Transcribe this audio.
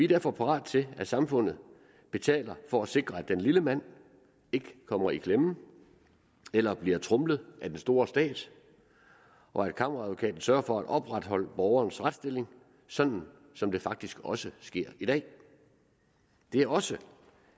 derfor parat til at samfundet betaler for at sikre at den lille mand ikke kommer i klemme eller bliver tromlet af den store stat og at kammeradvokaten sørger for at opretholde borgerens retsstilling sådan som det faktisk også sker i dag det er også